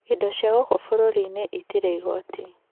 Indo cia gũkũ bũrũri-inĩ itirĩ igoti.